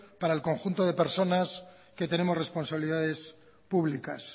para el conjunto de personas que tenemos responsabilidades públicas